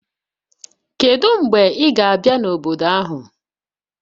Kedu mgbe ị ga-abịa n'obodo ahụ?